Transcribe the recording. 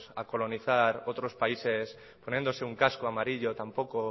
a colonizar otros países poniéndose un casco amarillo tampoco